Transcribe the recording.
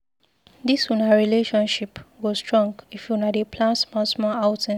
Dis una relationship go strong if una dey plan small-small outings.